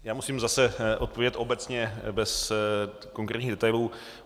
Já musím zase odpovědět obecně bez konkrétních detailů.